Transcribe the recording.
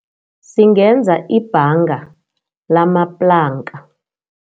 Singenza ibhanga ngalamaplanka.